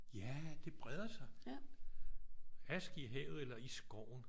Ja det breder sig. Aske i havet eller i skoven